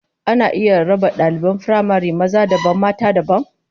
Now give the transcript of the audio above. Ana iya raba daliban firamare maza dabam mata dabam?